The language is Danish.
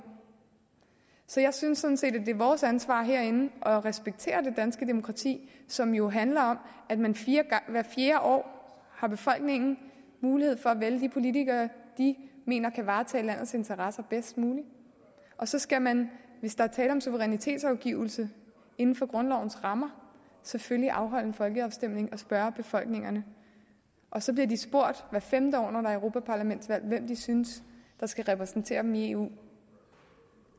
så jeg synes sådan set det er vores ansvar herinde at respektere det danske demokrati som jo handler om at hvert fjerde år har befolkningen mulighed for at vælge de politikere de mener kan varetage landets interesser bedst muligt og så skal man hvis der er tale om suverænitetsafgivelse inden for grundlovens rammer selvfølgelig afholde en folkeafstemning og spørge befolkningen og så bliver de spurgt hvert femte år når der er europaparlamentsvalg hvem de synes skal repræsentere dem i eu